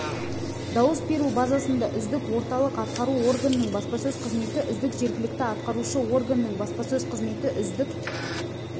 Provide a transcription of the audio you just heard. дауыс беру базасында үздік орталық атқару органының баспасөз қызметі үздік жергілікті атқарушы органның баспасөз қызметі үздік